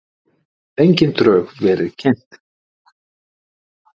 Engin drög verið kynnt